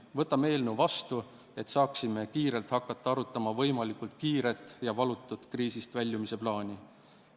Võtame selle eelnõu vastu, et saaksime kiiresti hakata arutama võimalikult kiiret ja valutut kriisist väljumise plaani.